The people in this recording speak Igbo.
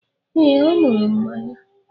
Ee, ọ ñuru mmanya